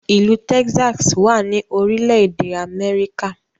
ilú Texas wá ní orílé èdè Améríkà